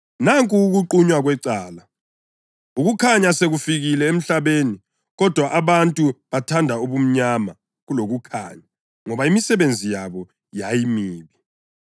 Nanku ukuqunywa kwecala: Ukukhanya sekufikile emhlabeni, kodwa abantu bathanda ubumnyama kulokukhanya ngoba imisebenzi yabo yayimibi.